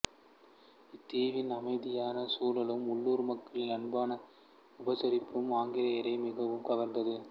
இத்தீவின் அமைதியான சூழலும் உள்ளூர் மக்களின் அன்பான உபசரிப்பும் ஆங்கிலேயரை மிகவும் கவர்ந்தது